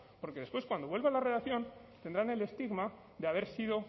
porque después cuando vuelva a la redacción tendrán el estigma de haber sido